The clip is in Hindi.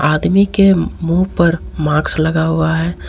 आदमी के मुंह पर माक्स लगा हुआ है।